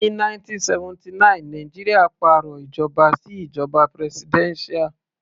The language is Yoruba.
Ní 1979 Nàìjíríà pàrọ̀ ìjọba sí ìjoba presidential.